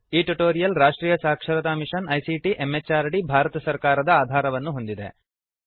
ಈ ಟ್ಯುಟೋರಿಯಲ್ ರಾಷ್ಟ್ರೀಯ ಸಾಕ್ಷರತಾ ಮಿಶನ್ ಐಸಿಟಿ ಎಂಎಚಆರ್ಡಿ ಭಾರತ ಸರ್ಕಾರದ ಆಧಾರವನ್ನು ಹೊಂದಿದೆ